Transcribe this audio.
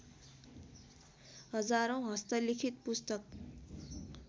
हजारौँ हस्तलिखित पुस्तक